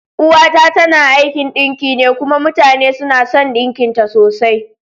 Uwa ta tana aikin ɗinki ne kuma mutane suna son ɗinkin ta sosai.